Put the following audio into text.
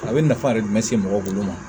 A bɛ nafa de se mɔgɔ bolo ma